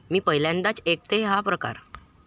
मी पहिल्यांदाच ऐकतेय हा प्रकार.